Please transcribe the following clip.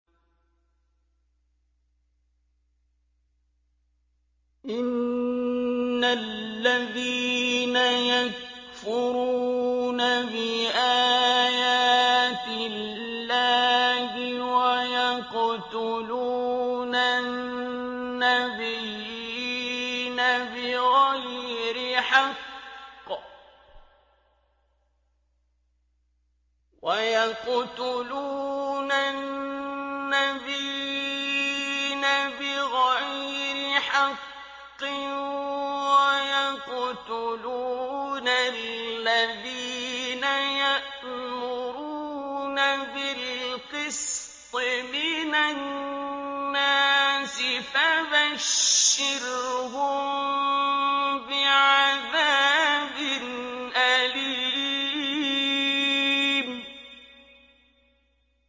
إِنَّ الَّذِينَ يَكْفُرُونَ بِآيَاتِ اللَّهِ وَيَقْتُلُونَ النَّبِيِّينَ بِغَيْرِ حَقٍّ وَيَقْتُلُونَ الَّذِينَ يَأْمُرُونَ بِالْقِسْطِ مِنَ النَّاسِ فَبَشِّرْهُم بِعَذَابٍ أَلِيمٍ